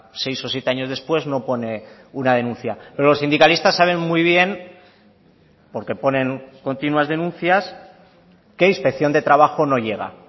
seis o siete años después no pone una denuncia pero los sindicalistas saben muy bien porque ponen continuas denuncias que inspección de trabajo no llega